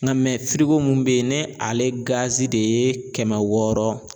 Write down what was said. Nka mun be yen ni ale de ye kɛmɛ wɔɔrɔ